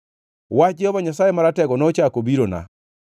Wach Jehova Nyasaye Maratego nochako obirona.